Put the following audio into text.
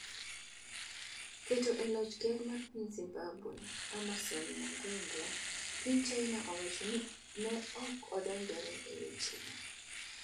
Keto e loch ker mar piny Zimbabwe, Emmerson Mnangagwa, piny China wacho ni ne ok odonjore e wechego